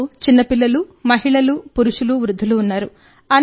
వారిలో చిన్న పిల్లలు మహిళలు పురుషులు వృద్ధులు ఉన్నారు